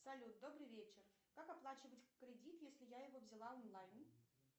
салют добрый вечер как оплачивать кредит если я его взяла онлайн